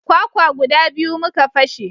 Kwakwa guda biyu muka fashe